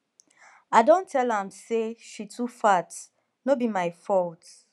i don tell am say she too fat no be my fault